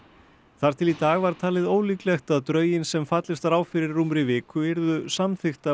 þar til í dag var talið ólíklegt að drögin sem fallist var á fyrir rúmri viku yrðu samþykkt af